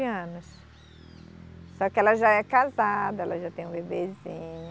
Anos. Só que ela já é casada, ela já tem um bebezinho.